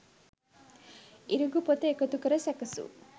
ඉරිඟු පොතු එකතු කර සැකසූ